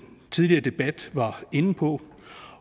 tidligere debat var inde på